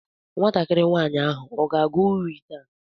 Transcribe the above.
Nwatakịrị nwaanyị ahụ ọ ga-agụ uri taa?